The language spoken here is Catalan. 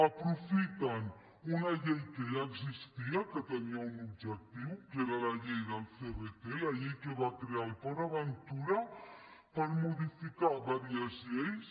aprofiten una llei que ja existia que tenia un objectiu que era la llei del crt la llei que va crear el port aventura per modificar diverses lleis